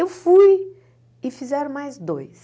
Eu fui e fizeram mais dois.